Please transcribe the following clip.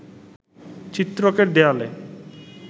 চিত্রকের দেয়ালে